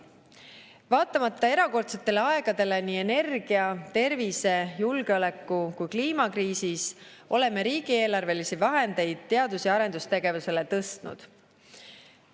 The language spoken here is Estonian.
Vaatamata erakordsetele aegadele nii energia-, tervise-, julgeoleku- kui kliimakriisis oleme riigieelarvelisi vahendeid teadus- ja arendustegevusele tõstnud.